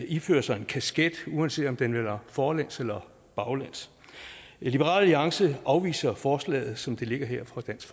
ifører sig en kasket uanset om den vender forlæns eller baglæns liberal alliance afviser forslaget som det ligger her fra dansk